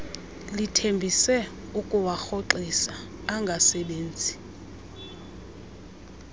lithembise ukuwarhoxisa angasebenzi